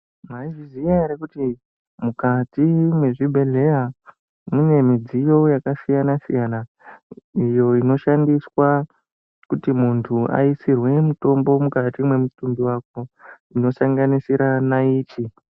Maizviziya ere kuti mukati mwezvibhedhleya mune midziyo yakasiyana-siyana iyo inoshandiswa kuti muntu aisirwe mutombo mukati mwemutumbi wako inosanganisira nayiti?